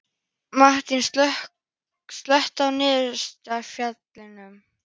Mattína, slökktu á niðurteljaranum.